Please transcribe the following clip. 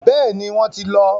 Bẹ́ẹ̀ni, wọ́n ti lọ.